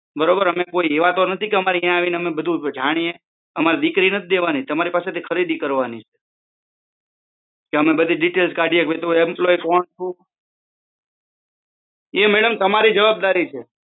બરોબર અમારો કોઈ ઈરાદો નથી કે ત્યાં આવી ને અમે જાણીએ અમારે દીકરી નથી દેવાની તમારી પાસે થી ખરીદી કરવાની છે કે અમારે બધી દિટેઇલસ કાઢ્યા કરવાની એ મેડમ તમારી જવાબદારી છે